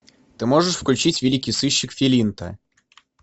ты можешь включить великий сыщик филинта